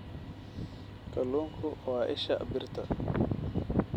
Kalluunku waa isha birta.